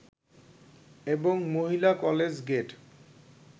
এবং মহিলা college gate